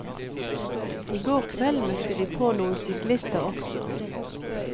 I går kveld møtte vi på noen syklister også.